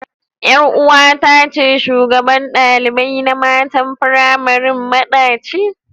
Kanwata ce shugabar dalibai na mata firamari madaci.